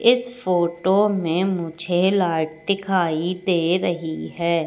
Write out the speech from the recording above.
इस फोटो में मुझे लाइट दिखाई दे रही है।